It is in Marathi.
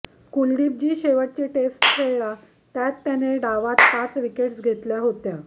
कुलदीप जी शेवटची टेस्ट खेळला त्यात त्याने डावात पाच विकेट्स घेतल्या होत्या